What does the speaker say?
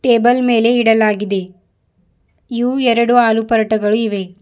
Table ಮೇಲೆ ಇಡಲಾಗಿದೆ ಇವು ಎರಡು ಆಲೂ ಪರಾಟಗಳು ಇವೆ.